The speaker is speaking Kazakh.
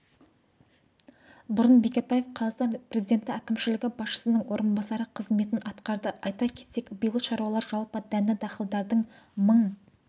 бұрын бекетаев қазақстан президенті әкімшілігі басшысының орынбасары қызметін атқарды айта кетейік биыл шаруалар жалпы дәнді-дақылдардан мың